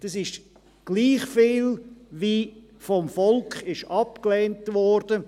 Das ist gleich viel, wie vom Volk abgelehnt wurde.